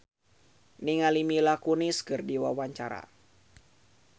Chintya Lamusu olohok ningali Mila Kunis keur diwawancara